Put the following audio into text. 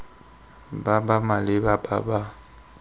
ba ba maleba ba ba